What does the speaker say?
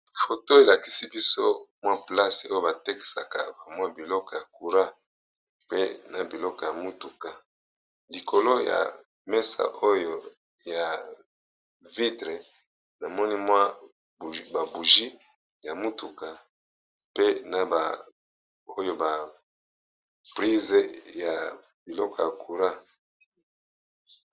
Photo oyo elakisi biso mwa place batekaka biloko ya courant na mutuka lokolo ya mesa oyo namoni ba bougie ya mutuka pe na ba prises ya biloko ya courant.